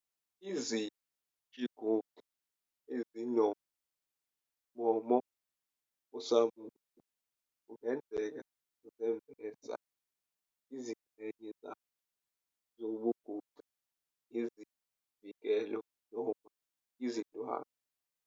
Izishinguxa ezinommomo osamuntu kungenzeka zembesa izingxenye zazo zobunguxa ngezivikelo noma izindwangu.